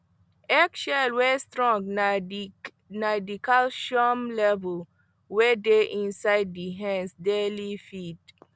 eggshell wey strong na the calcium level wey dey inside the hens daily feed